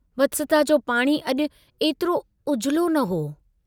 वत्सता जो पाणी अजु एतिरो उजलो न हो।